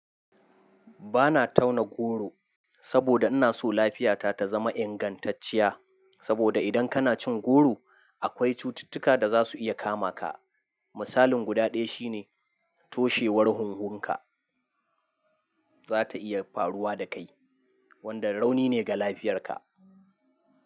Ba na tauna goro saboda inna so lafiyata ta zama ingantacciya. Saboda idan kana cin goro, akwai cututtuka da za su iya kama ka. Misalin guda ɗaya shi ne toshewar hunhunka za ta iya faruwa da kai, wanda rauni ne ga lafiyarka.